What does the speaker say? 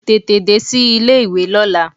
Tètè dé sí ilé ìwé lọ́la!